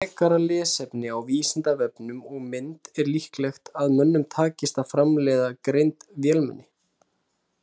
Frekara lesefni á Vísindavefnum og mynd Er líklegt að mönnum takist að framleiða greind vélmenni?